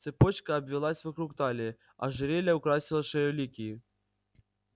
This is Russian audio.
цепочка обвилась вокруг талии ожерелье украсило шею ликии